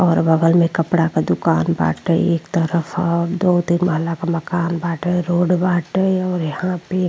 और बगल में कपड़ा के दुकान बाटे। एक तरफ और दो तीन माला के मकान बाटे। रोड बाटे और यहाँ पे --